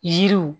Yiriw